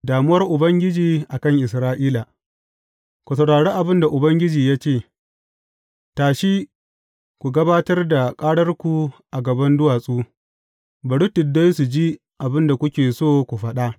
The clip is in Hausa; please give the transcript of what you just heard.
Damuwar Ubangiji a kan Isra’ila Ku saurari abin da Ubangiji ya ce, Tashi ku gabatar da ƙararku a gaban duwatsu; bari tuddai su ji abin da kuke so ku faɗa.